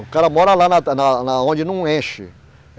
O cara mora lá na, na, na onde não enche.